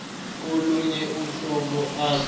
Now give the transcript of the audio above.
kolunye uhlobo ase